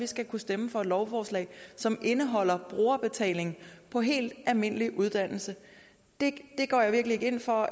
skal kunne stemme for et lovforslag som indeholder brugerbetaling på helt almindelig uddannelse det går jeg virkelig ikke ind for